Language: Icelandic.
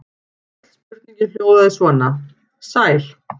Öll spurningin hljóðaði svona: Sæl.